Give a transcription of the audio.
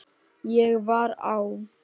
Ég var á